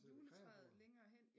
Juletræet længere hen